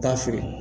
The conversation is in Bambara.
Taa feere